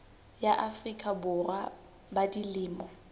ya afrika borwa ba dilemo